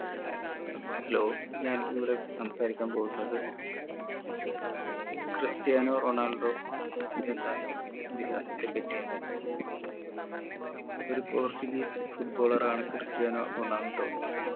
hello ഞാൻ ഇവിടെ സംസാരിക്കാൻ പോവുന്നത് ക്രിസ്റ്റിയാനോ റൊണാൾഡോ എന്ന ഇതിഹാസത്തെ പറ്റിയാണ് ഒരു portuguese foot baller ആണ് ക്രിസ്റ്റിയാനോ റൊണാൾഡോ